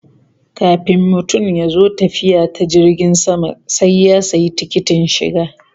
Kafin mutum ya zo tafiya ta jirgin sama sai ya sayi tikitin shiga